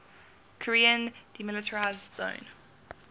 korean demilitarized zone